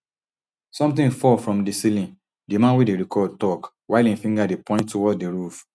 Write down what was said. somtin fall from di ceiling di man wey dey record tok while im finger dey point towards di roof